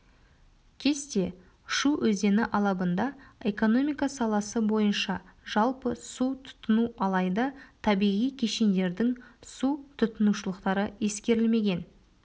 кесте шу өзені алабында экономика саласы бойынша жалпы су тұтыну алайда табиғи кешендердің су тұтынушылықтары ескерілмеген